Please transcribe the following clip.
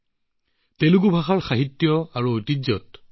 সকলোকে তেলেগু দিৱসৰ আন্তৰিক শুভেচ্ছা জনালোঁ